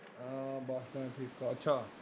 ਆਹ bus stand ਠੇਕਾ ਅੱਛਾ।